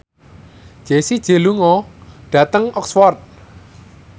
Jessie J lunga dhateng Oxford